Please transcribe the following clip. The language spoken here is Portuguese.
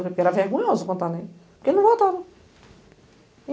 Era vergonhoso contar né, porque ele não voltava.